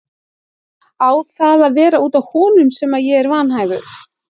Á það að vera út af honum sem ég er vanhæfur?